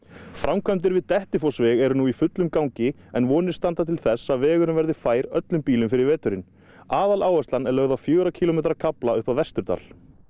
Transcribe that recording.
framkvæmdir við Dettifossveg eru nú í fullum gangi en vonir standa til þess að vegurinn verði fær öllum bílum fyrir veturinn áhersla er lögð á fjögurra kílómetra kafla upp að Vesturdal